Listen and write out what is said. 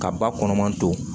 Ka ba kɔnɔman don